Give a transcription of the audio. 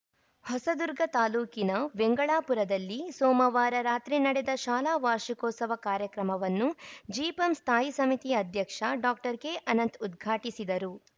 ಹೊಸದುರ್ಗ ತಾಲೂಕಿನ ವೆಂಗಳಾಪುರದಲ್ಲಿ ಸೋಮವಾರ ರಾತ್ರಿ ನಡೆದ ಶಾಲಾ ವಾರ್ಷಿಕೋತ್ಸವ ಕಾರ್ಯಕ್ರಮವನ್ನು ಜಿಪಂ ಸ್ಥಾಯಿ ಸಮಿತಿ ಅಧ್ಯಕ್ಷ ಡಾಕ್ಟರ್ ಕೆಅನಂತ್‌ ಉದ್ಘಾಟಿಸಿದರು